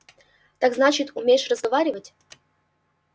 так значит умеешь разговаривать